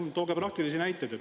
Palun tooge praktilisi näiteid.